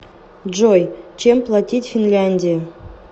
джой чем платить в финляндии